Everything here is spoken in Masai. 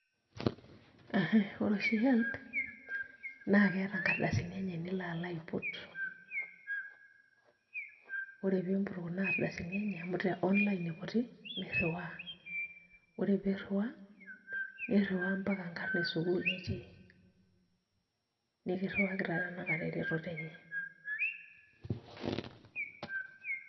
Ore oshi HELB naa keeta nkardasini enye nilo alo aiput ore piimput kuna ardasini enye amu te online iputi nirriwaa, ore piirriwaa nirriwaa mpaka nkarn esukuul nitii nikirriwaki taa tanakata eretoto enye.